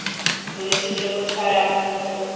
bolwetse jo bo tshwarang motho